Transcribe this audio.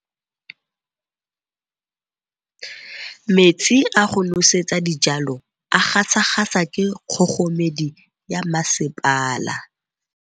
Metsi a go nosetsa dijalo a gasa gasa ke kgogomedi ya masepala.